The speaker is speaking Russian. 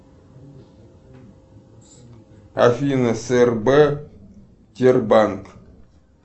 афина срб тербанк